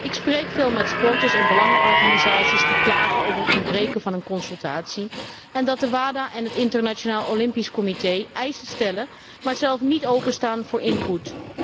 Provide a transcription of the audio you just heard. Ik spreek veel met sporters en belangenorganisaties die klagen over het ontbreken van overleg en zich erover beklagen dat het WADA en het Internationaal Olympisch Comité eisen stellen, maar zelf niet openstaan voor input.